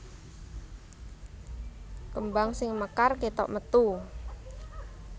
Kembang sing mekar kétok metu